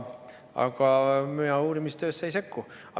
Aga mina uurimisse ei sekku.